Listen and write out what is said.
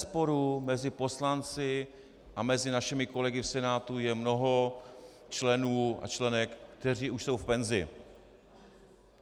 Bezesporu mezi poslanci a mezi našimi kolegy v Senátu je mnoho členů a členek, kteří už jsou v penzi.